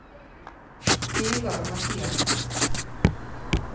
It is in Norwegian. Vegar Mathiassen